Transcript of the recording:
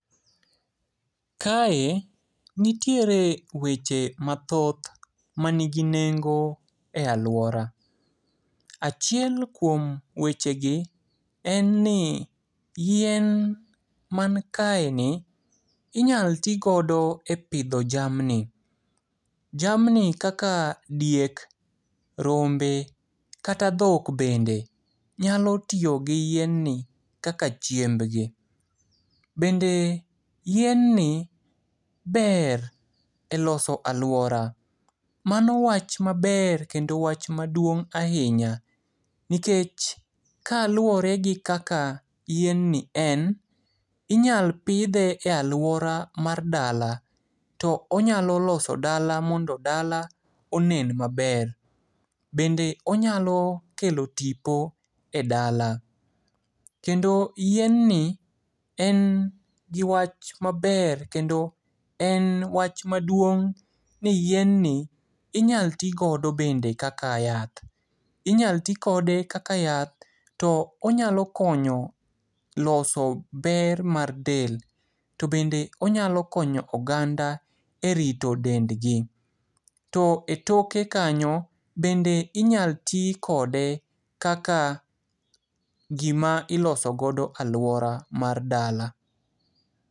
Kae nitiere weche mathoth manigi nengo e aluora. Achiel kuom wechegi, en ni yien mankaeni, inyal tigodo e pidho jamni. Jamni kaka diek, rombe kata dhok bende, nyalo tiyo gi yien ni kaka chiembgi. Bende yien ni ber e loso aluora. Mano wach maber kendo wach maduong' ahinya, nikech kaluore gi kaka yien ni en. Inyal pidhe e aluora mar dala. To onyalo loso dala mondo dala onen maber. Bende onyalo kelo tipo e dala. Kendo yien ni en gi wach maber kendo en wach maduong' ni yien ni inyal tigodo bende kaka yath. Inyal tikode kaka yath. To onyalo konyo loso ber mar del. To bende onyalo konyo oganda e rito dendgi. To e toke kanyo, bende inyal ti kode kaka gima iloso godo aluora mar dala.